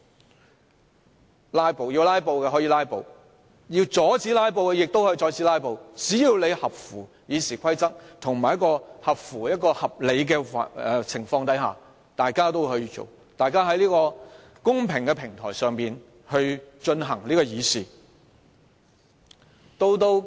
想"拉布"的議員可以"拉布"，想阻止"拉布"的議員亦可以阻止"拉布"，只要合乎《議事規則》的規定，以及在合理的情況下便可，大家在這個公平的平台上議事。